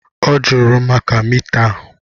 Ọ jụrụ maka mita a.